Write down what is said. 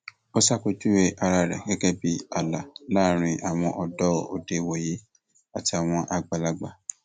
ó ṣàpèjúwe ara rẹ gẹgẹ bíi ààlà láàrin àwọn ọdọ òde ìwòyí àti àwọn àgbàlagbà